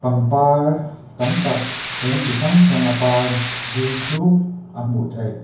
pangpar tam tak rawng chi hrang hrang a par vul chuk a hmuh theih.